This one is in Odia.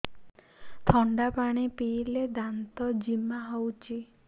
ଥଣ୍ଡା ପାଣି ପିଇଲେ ଦାନ୍ତ ଜିମା ହଉଚି